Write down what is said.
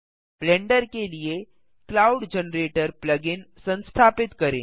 blender के लिए cloud generator plug in संस्थापित करें